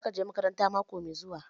Za ka je makaranta mako mai zuwa?